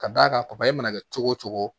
Ka d'a kan papaye mana kɛ cogo o cogo